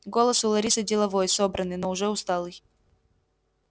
голос у ларисы деловой собранный но уже усталый